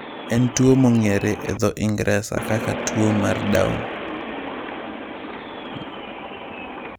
En tuwo mong'ere e dho Ingresa kaka tuwo mar Down.